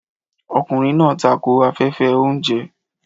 Ọkùnrin náà tako afẹ́fẹ́ oúnjẹ.